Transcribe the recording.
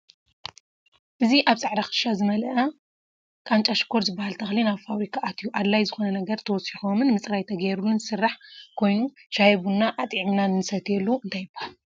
ኣብ ፃዕዳ ክሻ ዝመለኣ ቃንጫ ሽካር ዝብሃል ተክሊ ናብ ፋብርካ ኣትዩ ኣድላይ ዝኮነ ነገራት ተወስኮምን ምፅራይ ተገርሉ ዝስራሕ ኮይኑ ሻሂ ቡና ኣጥዒምና ንሰትየሉ እንታይ ይብሃል?